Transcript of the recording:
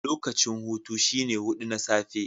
Lokacin hutu shine hudu na safe.